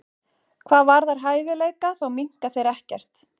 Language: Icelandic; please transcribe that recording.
Hvað varðar hæfileika þá minnka þeir ekkert.